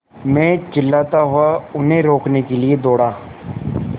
मैं चिल्लाता हुआ उन्हें रोकने के लिए दौड़ा